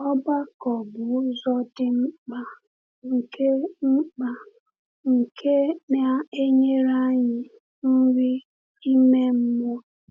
Ọgbakọ bụ ụzọ dị mkpa nke mkpa nke na-enyere anyị nri ime mmụọ.